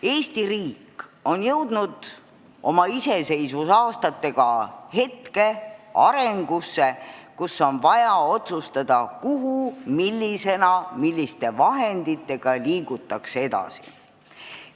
Eesti riik on oma iseseisvuse aastatel jõudnud arenguetappi, kus on vaja otsustada kuhu, millisena, milliste vahenditega liigutakse edasi.